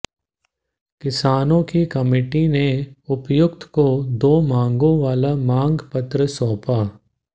किसानों की कमेटी ने उपायुक्त को दो मांगों वाला मागं पत्र सौंपा